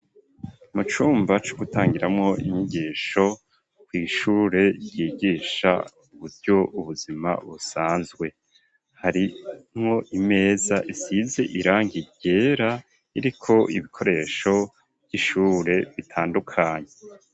Mu cumba co gutangiramwo inyigisho kw'ishure ryigisha uburyo ubuzima busanzwe harimwo imeza isize irangi ryera iriko ibikoresho vy'ishure bitandukanye.